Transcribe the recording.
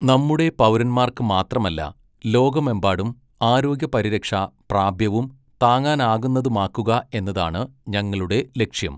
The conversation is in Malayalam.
നമ്മുടെ പൗരന്മാർക്ക് മാത്രമല്ല, ലോകമെമ്പാടും ആരോഗ്യപരിരക്ഷ പ്രാപ്യവും താങ്ങാനാകുന്നതുമാക്കുക എന്നതാണ് ഞങ്ങളുടെ ലക്ഷ്യം.